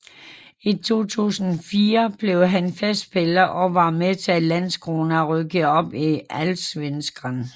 I 2004 blev han fast spiller og var med til at Landskrona rykkede op i Allsvenskan